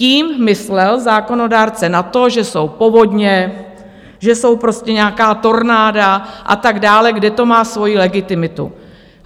Tím myslel zákonodárce na to, že jsou povodně, že jsou prostě nějaká tornáda a tak dále, kde to má svoji legitimitu.